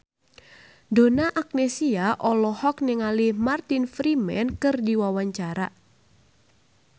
Donna Agnesia olohok ningali Martin Freeman keur diwawancara